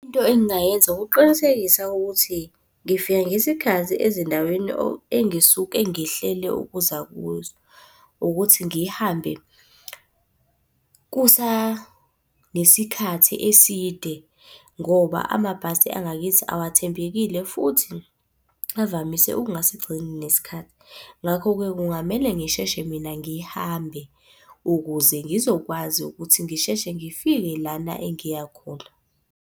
Into engingayenza ukuqinisekisa ukuthi ngifika ngesikhathi ezindaweni engisuke ngihlele ukuza kuzo. Ukuthi ngihambe kusanesikhathi eside, ngoba amabhasi angakithi awathembekile futhi avamise ukungasigcini nesikhathi. Ngakho-ke kungamele ngisheshe mina ngihambe ukuze ngizokwazi ukuthi ngisheshe ngifike lana engiya khona.